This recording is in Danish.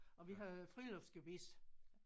Og vi havde friluftsgebis